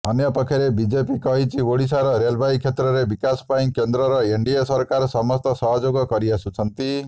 ଅନ୍ୟପକ୍ଷରେ ବିଜେପି କହିଛି ଓଡ଼ିଶାର ରେଳବାଇ କ୍ଷେତ୍ରରେ ବିକାଶ ପାଇଁ କେନ୍ଦ୍ରର ଏନଡିଏ ସରକାର ସମସ୍ତ ସହଯୋଗ କରିଆସୁଛନ୍ତି